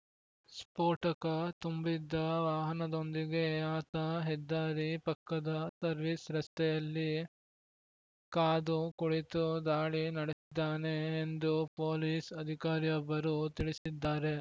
ಸ್ಫೋಟಕ ತುಂಬಿದ್ದ ವಾಹನದೊಂದಿಗೆ ಆತ ಹೆದ್ದಾರಿ ಪಕ್ಕದ ಸರ್ವಿಸ್‌ ರಸ್ತೆಯಲ್ಲಿ ಕಾದು ಕುಳಿತು ದಾಳಿ ನಡೆಸಿದ್ದಾನೆ ಎಂದು ಪೊಲೀಸ್‌ ಅಧಿಕಾರಿಯೊಬ್ಬರು ತಿಳಿಸಿದ್ದಾರೆ